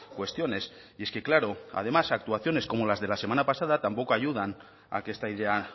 cuestiones y es que claro además actuaciones como las de la semana pasada tampoco ayudan a que esta idea